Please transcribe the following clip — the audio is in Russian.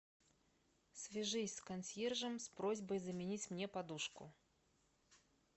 свяжись с консьержем с просьбой заменить мне подушку